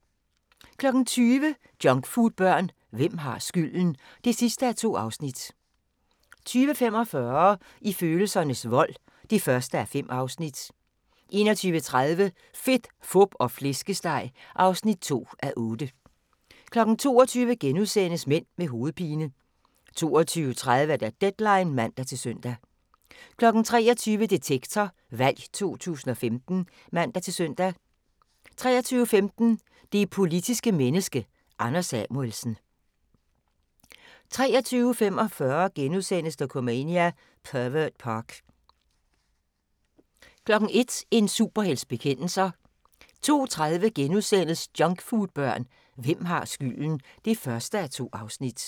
20:00: Junkfoodbørn – hvem har skylden? (2:2) 20:45: I følelsernes vold (1:5) 21:30: Fedt, fup og flæskesteg (2:8) 22:00: Mænd med hovedpine * 22:30: Deadline (man-søn) 23:00: Detektor – Valg 2015 (man-søn) 23:15: Det politiske menneske – Anders Samuelsen 23:45: Dokumania: Pervert Park * 01:00: En superhelts bekendelser 02:30: Junkfoodbørn – hvem har skylden? (1:2)*